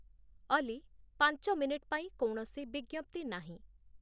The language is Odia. ଅଲି, ପାଞ୍ଚ ମିନିଟ୍ ପାଇଁ କୌଣସି ବିଜ୍ଞପ୍ତି ନାହିଁ